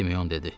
Simeon dedi.